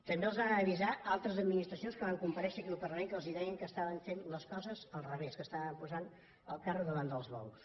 també els van avisar altres administracions que van compareixen aquí al parlament que els deien que estaven fent les coses al revés que estaven posant el carro davant dels bous